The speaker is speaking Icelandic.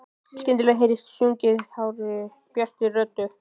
Skyndilega heyrist sungið hárri, bjartri röddu.